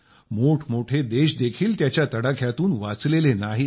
मोठमोठे देशदेखील त्याच्या तडाख्यातून वाचलेले नाहीत